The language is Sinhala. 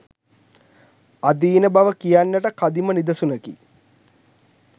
අදීන බව කියන්නට කදිම නිදසුනකි.